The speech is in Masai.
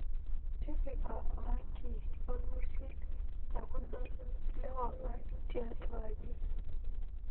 tipika orangi lormisil tekudol lewangan tiatwa aji